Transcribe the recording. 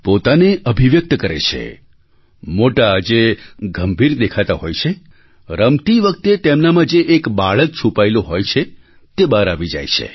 પોતાને અભિવ્યક્ત કરે છે મોટા જે ગંભીર દેખાતા હોય છે રમતી વખતે તેમનામાં જે એક બાળક છુપાયેલું હોય છે તે બહાર આવી જાય છે